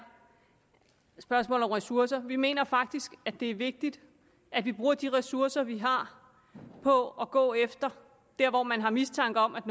spørgsmålet om ressourcer vi mener faktisk at det er vigtigt at vi bruger de ressourcer vi har på at gå efter det hvor man har mistanke om at